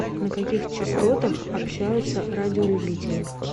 на каких частотах общаются радиолюбители